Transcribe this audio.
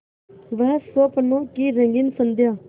वह स्वप्नों की रंगीन संध्या